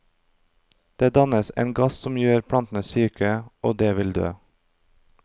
Det dannes en gass som gjør plantene syke og de vil dø.